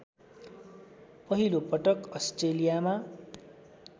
पहिलो पटक अस्ट्रेलियामा